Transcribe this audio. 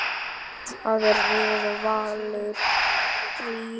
Þar réð Valur ríkjum.